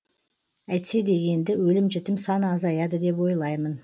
әйтсе де енді өлім жітім саны азаяды деп ойлаймын